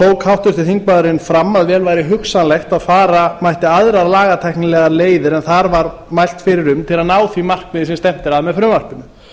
tók háttvirtur þingmaðurinn fram að vel væri hugsanlegt að fara mætti aðra lagatæknilegar leiðir en þar var mælt fyrir um til að ná því markmiði sem stefnt er að með frumvarpinu